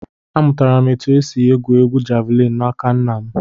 Amụtara m otu esi égwù égwú javịlịn n'aka nna m